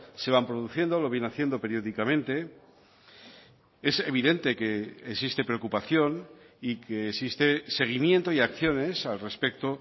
se van produciendo lo viene haciendo periódicamente es evidente que existe preocupación y que existe seguimiento y acciones al respecto